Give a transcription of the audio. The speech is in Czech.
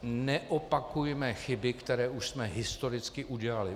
Neopakujme chyby, které už jsme historicky udělali.